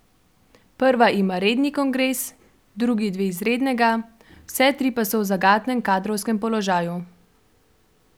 Prva ima redni kongres, drugi dve izrednega, vse tri pa so v zagatnem kadrovskem položaju.